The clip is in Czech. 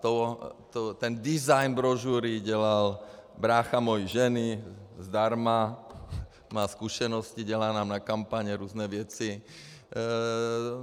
Ten design brožury dělal brácha mojí ženy zdarma, má zkušenosti, dělá nám na kampaně různé věci.